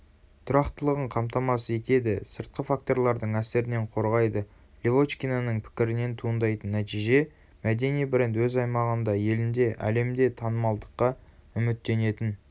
тұрақтылығын қамтамасыз етеді сыртқы факторлардың әсерінен қорғайды левочкинаның пікірінен туындайтын нәтиже мәдени бренд өзаймағында елінде әлемде танымалдыққа үміттенетін